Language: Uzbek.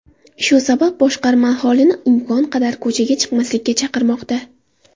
Shu sabab boshqarma aholini imkon qadar ko‘chaga chiqmaslikka chaqirmoqda.